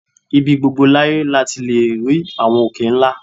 Ibi gbogbo láyé la ti lè rí àwọn òkè ńlá